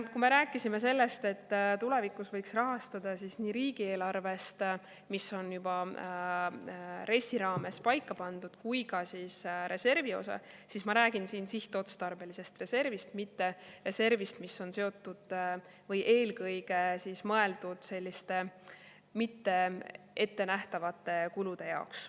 Kui me rääkisime sellest, et tulevikus võiks rahastada nii riigieelarvest, mis on juba RES‑i raames paika pandud, kui ka reservi osast, siis ma räägin siin sihtotstarbelisest reservist, mitte reservist, mis on eelkõige mõeldud selliste mitte ettenähtavate kulude jaoks.